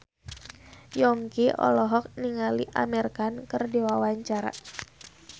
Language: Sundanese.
Yongki olohok ningali Amir Khan keur diwawancara